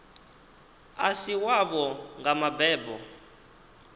a si wavho nga mbebo